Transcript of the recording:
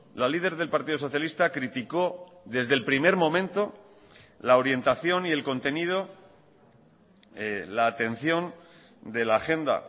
la líder del partido socialista criticó desde el primer momento la orientación y el contenido la atención de la agenda